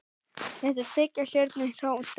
Þetta er þriggja stjörnu hótel.